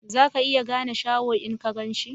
Za ka iya gane Shaho in ka gan shi?